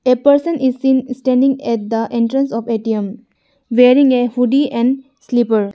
A person is seen standing at the entrance of A_T_M wearing a huddie and slipper.